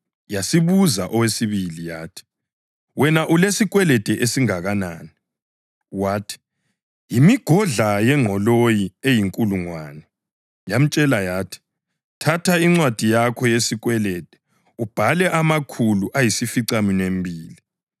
Yasibuza owesibili yathi, ‘Wena ulesikwelede esingakanani?’ Wathi, ‘Yimigodla yengqoloyi eyinkulungwane.’ Yamtshela yathi, ‘Thatha incwadi yakho yesikwelede ubhale amakhulu ayisificaminwembili.’